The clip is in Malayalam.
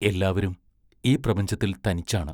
എല്ലാവരും ഈ പ്രപഞ്ചത്തിൽ തനിച്ചാണ്.